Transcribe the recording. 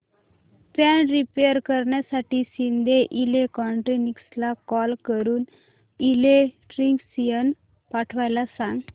fan repair करण्यासाठी शिंदे इलेक्ट्रॉनिक्सला call करून इलेक्ट्रिशियन पाठवायला सांग